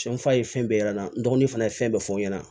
Cɛn fa ye fɛn bɛɛ y'an na n dɔgɔnin fana ye fɛn bɛɛ fɔ n ɲɛna